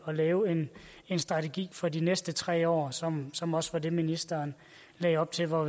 at lave en strategi for de næste tre år som som også var det ministeren lagde op til og